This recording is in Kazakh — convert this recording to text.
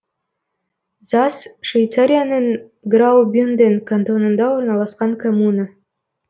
зас швейцарияның граубюнден кантонында орналасқан коммуна